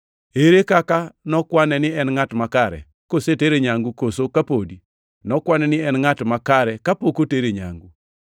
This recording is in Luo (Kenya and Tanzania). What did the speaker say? Ere kaka nokwane ni en ngʼat makare, kosetere nyangu koso ka podi? Nokwane ni en ngʼat makare kapok otere nyangu.